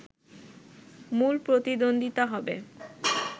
মূল প্রতিদ্বন্দ্বিতা হবে